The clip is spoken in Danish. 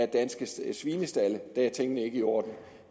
danske svinestalde er tingene ikke i orden